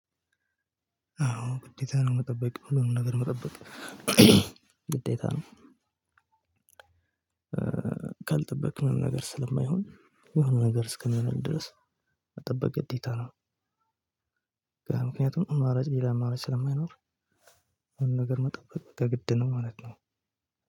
አዎ ግዴታ ነው መጠበቅ ሁሉንም ነገር መጠበቅ ግዴታ ነው። ካልጠበክ ምንም ነገር ስለማይሆን የሆነ ነገር እስከሚሆን ድረስ መጠበቅ ግዴታ ነው። ምክንያቱም አማራጭ ሌላ አማራጭ ስለማይኖር። ነገር መጠበቅ የግድ ነው ማለት ነው።